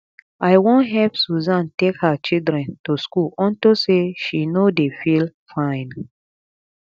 i wan help susan take her children to school unto say she no dey feel fine